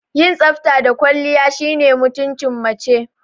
Yin tsafta da kwalliya shine mutumcin mace